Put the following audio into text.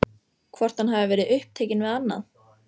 Hvort hann hafi verið upptekinn við annað?